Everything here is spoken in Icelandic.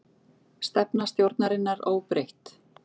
Stefna stjórnarinnar óbreytt